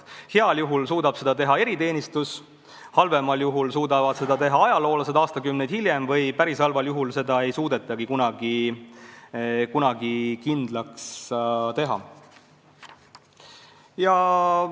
Heal juhul suudab seda teha eriteenistus, halvemal juhul suudavad seda teha ajaloolased aastakümneid hiljem või päris halval juhul ei suudetagi selliseid inimesi kunagi kindlaks teha.